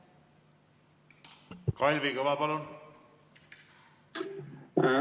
Kalvi Kõva, palun!